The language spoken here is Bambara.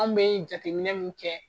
An bɛ jateminɛ min kɛ